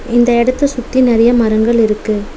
இந்த எடத்த சுத்தி நெறையா மரங்கள் இருக்கு.